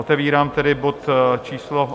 Otevírám tedy bod číslo